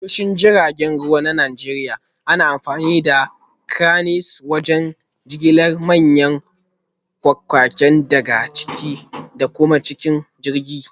A tashoshin jiragen ruwa na Najeriya, ana amfani da Cranes wajen jigilar manyan kayayyaki daga ciki da kuma cikin jirgin